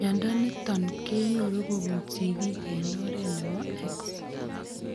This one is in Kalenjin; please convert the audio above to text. Mnyondo niton kenyoru kobun sigiik en oret nebo X